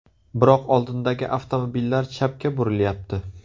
Biroq oldindagi avtomobillar chapga burilyapti.